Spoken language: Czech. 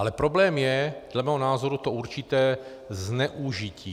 Ale problém je dle mého názoru to určité zneužití.